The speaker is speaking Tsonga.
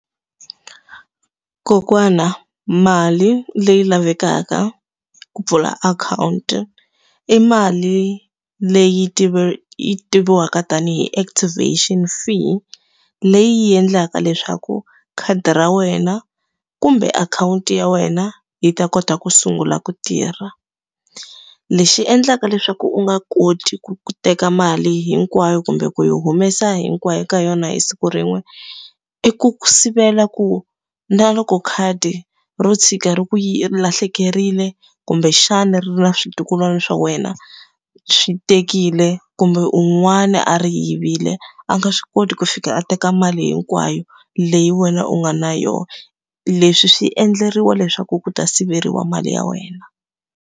Kokwana mali leyi lavekaka ku pfula akhawunti i mali leyi yi tiviwaka tanihi activation fee. Leyi yi endlaka leswaku khadi ra wena kumbe akhawunti ya wena, yi ta kota ku sungula ku tirha. Lexi endlaka leswaku u nga koti ku ku teka mali hinkwayo kumbe ku yi humesa hinkwayo ka yona hi siku rin'we, i ku ku sivela ku na loko khadi ro tshuka ri ku lahlekerile, kumbexana ri na switukulwana swa wena swi tekile, kumbe un'wana a ri yivile, a nga swi koti ku fika a teka mali hinkwayo leyi wena u nga na yona. leswi swi endleriwa leswaku ku ta siveriwa mali ya wena.